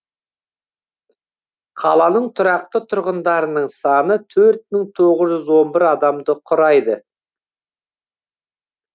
қаланың тұрақты тұрғындарының саны төрт мың тоғыз жүз он бір адамды құрайды